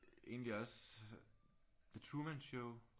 Egentlig også The Truman Show